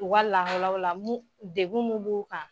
U ka lahalaw la mun degun mun b'u kan